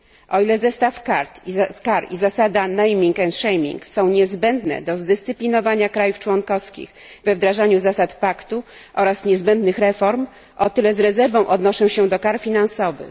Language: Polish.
O ile zestaw kar i zasada naming and shaming są niezbędne do zdyscyplinowania krajów członkowskich we wdrażaniu zasad paktu oraz niezbędnych reform, o tyle z rezerwą odnoszę się do kar finansowych.